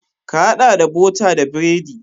Ka haɗa da bota da biredi.